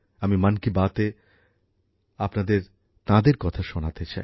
আমি মন কি বাতে আপনাদের তাঁদের কথা শোনাতে চাই